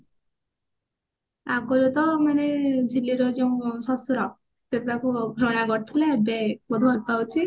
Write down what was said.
ଆଗରୁ ତ ମରିଗଲେ ଝିଲି ର ଯୋଉ ଶଶୁର ସେ ତାକୁ ଘୃଣା କରୁଥିଲେ ଏବେ ଭଲ ପୁରା ଭଲ ପାଉଛି